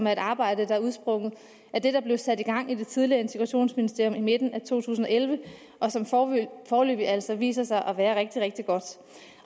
er et arbejde der er udsprunget af det der blev sat i gang af det tidligere integrationsministerium i midten af to tusind og elleve og som foreløbig altså har vist sig at være rigtig rigtig godt